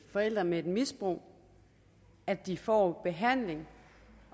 forældre med et misbrug at de får behandling